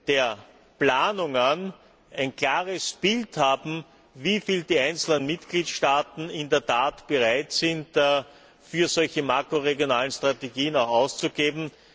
der Planungen ein klares Bild haben, wieviel die einzelnen Mitgliedstaaten in der Tat bereit sind, für solche makroregionalen Strategien auszugeben.